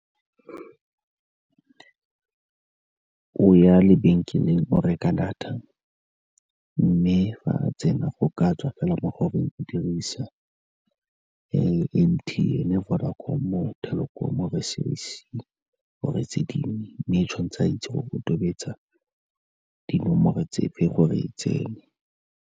O ya lebenkeleng o reka data, mme fa tsena go ka tswa fela mo goreng o dirisa M_T_N-e, Vodacom-o, Telkom-o or-e Cell C or-e tse dingwe, mme tshwan'tse a itse gore o tobetsa dinomoro tse fe gore e tsene.